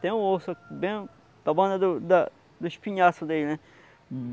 tem um osso bem na borda do da dos pinhaços dele, né?